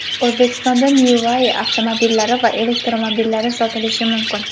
O‘zbekistonda NeuWai avtomobillari va elektromobillari sotilishi mumkin.